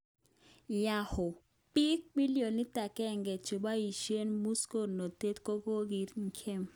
Yahoo: Bik billionit 1 cheboishen musoknotet kokaki gem.